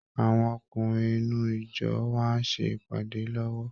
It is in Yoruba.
Àwọn ọkùnrin inú ìjọ wa ń ṣe ìpàdé lọ́wọ́